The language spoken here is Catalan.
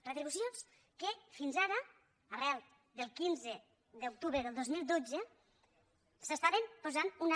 retribucions que fins ara arran del quinze d’octubre del dos mil dotze s’estaven posant unes